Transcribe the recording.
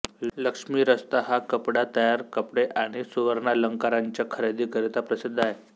लक्ष्मी रस्ता हा कपडा तयार कपडे आणि सुवर्णालंकारांच्या खरेदीकरिता प्रसिद्ध आहे